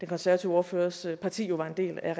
konservative ordførers parti jo var en del af